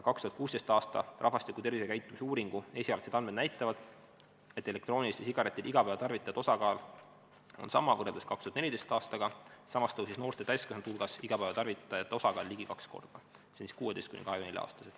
2016. aasta rahvastiku tervisekäitumise uuringu esialgsed andmed näitavad, et elektrooniliste sigarettide igapäevatarvitajate osakaal on sama kui näiteks 2014. aastal, samas tõusis noorte täiskasvanute hulgas igapäevatarvitajate osakaal ligi kaks korda .